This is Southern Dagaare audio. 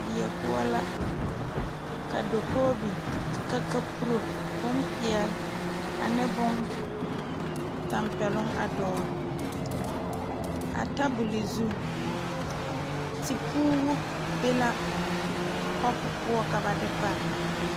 Die poɔ la ka dakogi biŋ ka kaporo bonpeɛle ane bontanpɛloŋ a dɔgle a tabol zu teporo be la kapu poɔ ka ba de pare.